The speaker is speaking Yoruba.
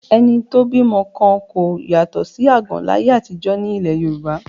Ẹni tó bímọ kan kò yàtọ̀ sí àgàn láyé àtijọ́ ní ilẹ̀ Yorùbá